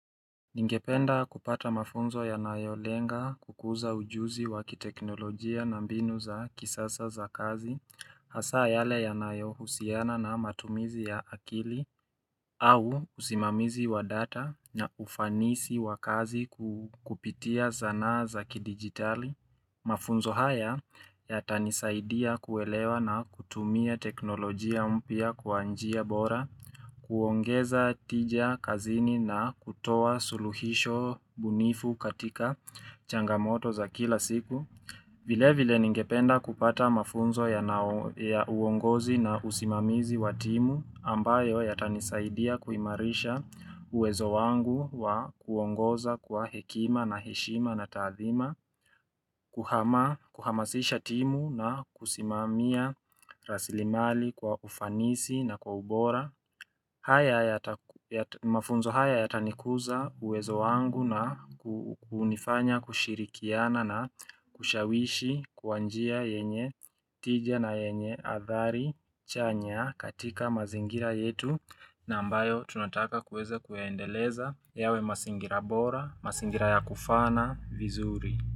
Ningependa kupata mafunzo yanayo lenga kukuza ujuzi wakiteknolojia na mbinu za kisasa za kazi, hasa yale ya nayo husiana na matumizi ya akili, au usimamizi wa data na ufanisi wa kazi ku kupitia zanaa za kidigitali. Mafunzo haya ya tanisaidia kuelewa na kutumia teknolojia mpya kwa njia bora, kuongeza tija kazini na kutoa suluhisho bunifu katika changamoto za kila siku. Vile vile ningependa kupata mafunzo yanao ya uongozi na usimamizi wa timu ambayo yata nisaidia kuimarisha uwezo wangu wa kuongoza kwa hekima na heshima na taathima, kuhamasisha timu na kusimamia rasilimali kwa ufanisi na kwa ubora. Haya yata ya mafunzo haya yatanikuza uwezo wangu na kunifanya kushirikiana na kushawishi kwa njia yenye tijia na yenye athari chanya katika mazingira yetu na ambayo tunataka kueze kueendeleza yawe masingira bora, masingira ya kufaana, vizuri.